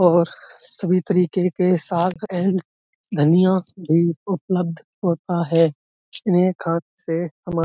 और सभी तरीके के साग एंड धनिया भी उपलब्ध होता है। एक हाथ से हमा --